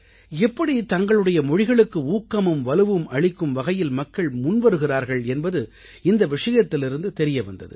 எப்படி தங்களுடைய மொழிகளுக்கு ஊக்கமும் வலுவும் அளிக்கும் வகையில் மக்கள் முன்வருகிறார்கள் என்பது இந்த விஷயத்திலிருந்து தெரிய வந்தது